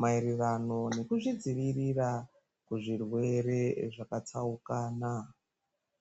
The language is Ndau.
maererano nekuzvidzivirira kubva kuzvirwere zvakatsaukana.